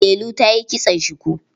Delu ta yi kitson shuku.